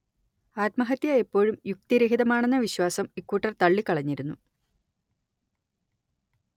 ആത്മഹത്യ എപ്പോഴും യുക്തിരഹിതമാണെന്ന വിശ്വാസം ഇക്കൂട്ടർ ത‌‌ള്ളിക്കളഞ്ഞിരുന്നു